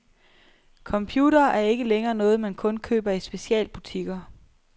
Computere er ikke længere noget, man kun køber i specialbutikker.